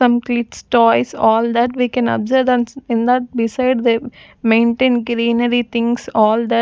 completes toys all that we can observe and in that beside they maintain greenery things all that--